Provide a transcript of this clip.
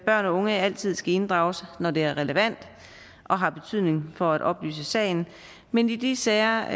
børn og unge altid skal inddrages når det er relevant og har betydning for at oplyse sagen men i de sager